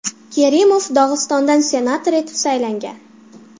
Kerimov Dog‘istondan senator etib saylangan.